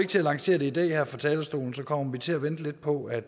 til at lancere det i dag her fra talerstolen man kommer til at vente lidt på at